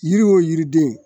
Yiri o yiriden